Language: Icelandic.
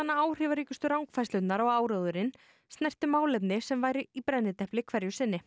áhrifaríkustu rangfærslurnar og áróðurinn snerti málefni sem væru í brennidepli hverju sinni